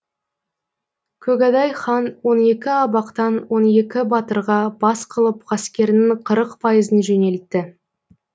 көгадай хан он екі абақтан он екі батырға бас қылып ғаскерінің қырық пайызын жөнелтті